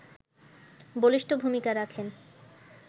বলিষ্ঠ ভূমিকা রাখেন